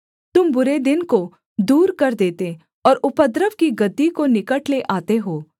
तुम बुरे दिन को दूर कर देते और उपद्रव की गद्दी को निकट ले आते हो